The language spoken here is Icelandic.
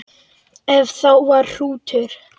Ef það var hrútur.